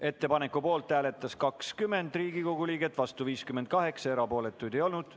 Ettepaneku poolt hääletas 20 Riigikogu liiget, vastu 58, erapooletuid ei olnud.